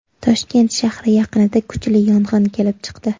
Toshkent shahri yaqinida kuchli yong‘in kelib chiqdi.